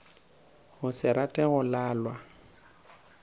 go se rate go lalwa